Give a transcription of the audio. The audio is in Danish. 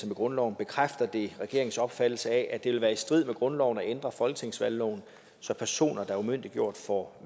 med grundloven bekræfter det regeringens opfattelse af at det vil være i strid med grundloven at ændre folketingsvalgloven så personer der er umyndiggjort får